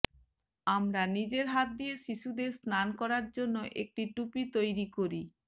আমরা নিজের হাত দিয়ে শিশুদের স্নান করার জন্য একটি টুপি তৈরি করি